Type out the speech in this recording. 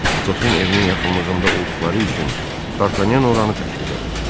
Atosun evinin yaxınlığında olduqları üçün Dartanyan oranı təklif elədi.